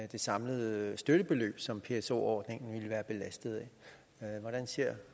det samlede støttebeløb som pso ordningen vil være belastet af hvordan ser